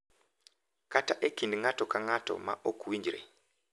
Kata e kind ng’ato ka ng’ato ma ok winjre,